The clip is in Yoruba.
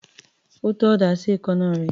Ó tọ́ ọ̀dà sí èékánná rẹ̀.